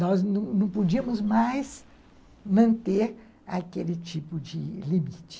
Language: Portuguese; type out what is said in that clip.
Nós não não podíamos mais manter aquele tipo de limite.